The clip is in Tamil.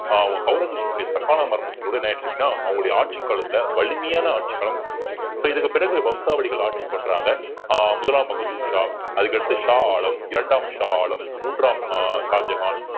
ஆஹ் ஔரங்கசீப்புடைய தக்கானா மரணத்தில் கூட என்ன ஆயிடுச்சு அப்படின்னா அவங்களுடைய ஆட்சிக் காலத்துல வலிமையான ஆட்சிக் காலம் முடிஞ்சது so இதுக்கு பிறகு வம்சாவளிகள் ஆட்சி பண்றாங்க ஆஹ் முதலாம் பகதூர் ஷா அதுக்கு அடுத்து ஷா ஆலம் இரண்டாம் ஷா ஆலம் மூன்றாம் ஆஹ் ஷாஜகான்